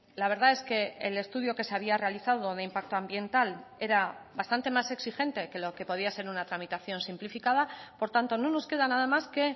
la verdad es que el estudio que se había realizado de impacto ambiental era bastante más exigente que lo que podía ser una tramitación simplificada por tanto no nos queda nada más que